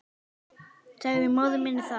Sagði móður minni það.